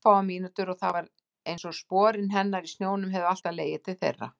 Örfáar mínútur og það var einsog sporin hennar í snjónum hefðu alltaf legið til þeirra.